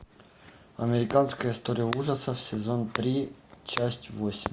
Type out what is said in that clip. американская история ужасов сезон три часть восемь